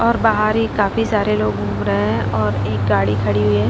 और बाहर ही काफी सारे लोग घूम रहे हैं और एक गाड़ी खड़ी हुई है।